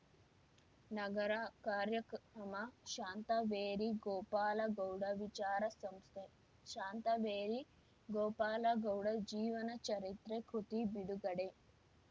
ನಗರ ಕಾರ್ಯಕ್ರಮ ಶಾಂತವೇರಿ ಗೋಪಾಲಗೌಡ ವಿಚಾರ ಸಂಸ್ಥೆ ಶಾಂತವೇರಿ ಗೋಪಾಲಗೌಡ ಜೀವನ ಚರಿತ್ರೆ ಕೃತಿ ಬಿಡುಗಡೆ